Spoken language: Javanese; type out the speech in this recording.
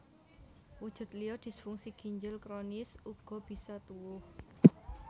Wujud liya disfungsi ginjel kronis uga bisa tuwuh